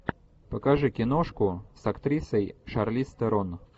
покажи киношку с актрисой шарлиз терон